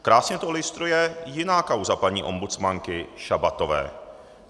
Krásně to ilustruje jiná kauza paní ombudsmanky Šabatové.